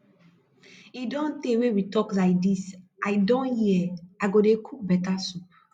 e don tey wey we talk like dis i don hear i go dey cook better soup